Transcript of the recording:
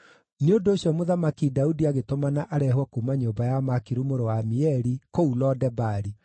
Nĩ ũndũ ũcio, Mũthamaki Daudi agĩtũmana areehwo kuuma nyũmba ya Makiru mũrũ wa Amieli, kũu Lo-Debari.